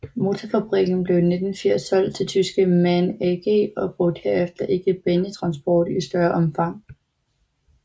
Motorfabrikken blev i 1980 solgt til tyske MAN AG og brugte herefter ikke banetransport i større omfang